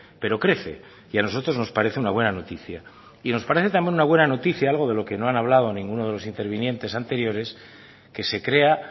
pero crece y a nosotros nos parece una buena noticia y nos parece también una buena noticia algo de lo que no han hablado ninguno de los intervinientes anteriores que se crea